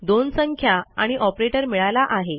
दोन संख्या आणि ऑपरेटर मिळाला आहे